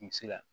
I bɛ se ka